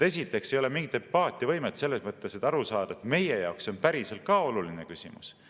Esiteks ei ole mingit empaatiavõimet selles mõttes, et aru saada, et meie jaoks see on päriselt ka oluline küsimus.